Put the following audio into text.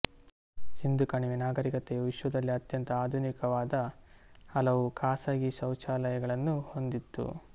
ಸಿಂಧೂ ಕಣಿವೆ ನಾಗರೀಕತೆಯು ವಿಶ್ವದಲ್ಲೇ ಅತ್ಯಂತ ಆಧುನಿಕವಾದ ಹಲವು ಖಾಸಗಿ ಶೌಚಾಲಯಗಳನ್ನು ಹೊಂದಿತ್ತು